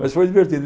Mas foi divertido.